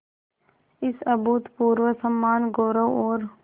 इस अभूतपूर्व सम्मानगौरव और